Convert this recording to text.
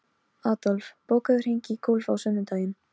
Hennar vegna ígrundaði ég stöðu mína vandlega.